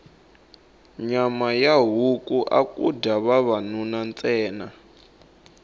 nyama ya huku aku dya vavanuna ntsena